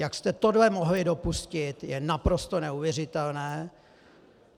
Jak jste tohle mohli dopustit, je naprosto neuvěřitelné.